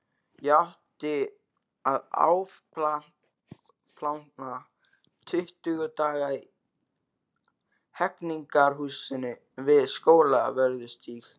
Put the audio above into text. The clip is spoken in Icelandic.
Ég átti að afplána tuttugu daga í Hegningarhúsinu við Skólavörðustíg.